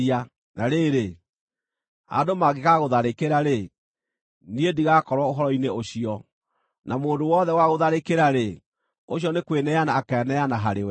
Na rĩrĩ, andũ mangĩgaagũtharĩkĩra-rĩ, niĩ ndigakorwo ũhoro-inĩ ũcio; na mũndũ o wothe ũgaagũtharĩkĩra-rĩ, ũcio nĩ kwĩneana akeeneana harĩwe.